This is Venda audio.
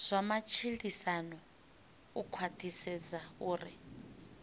zwa matshilisano u khwathisedza uri